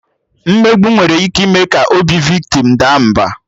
Mmegbu nwere ike ime ka obi viktim daa mba